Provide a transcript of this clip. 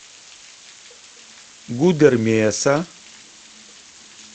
гудермеса